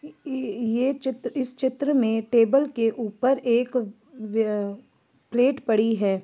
ये चित्र इस चित्र मे टेबल के ऊपर एक व प्लेट पड़ी है।